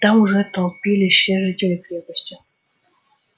там уже толпились все жители крепости